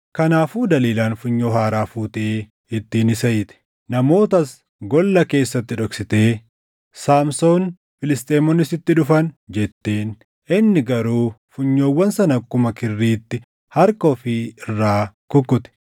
Kanaafuu Daliilaan funyoo haaraa fuutee ittiin isa hiite. Namootas golla keessatti dhoksitee, “Saamsoon, Filisxeemonni sitti dhufan!” jetteen. Inni garuu funyoowwan sana akkuma kirriitti harka ofii irraa kukkute.